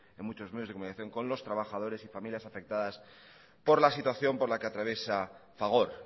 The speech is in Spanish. en muchos medios de comunicación con los trabajadores y familias afectadas por la situación por la que atraviesa fagor